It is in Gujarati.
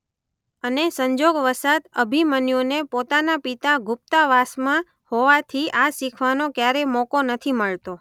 અને સંજોગ વસાત અભિમન્યુને પોતાના પિતા ગુપ્તવાસ હોવાથી આ શીખવાનો ક્યારેય મોકો નથી મળતો.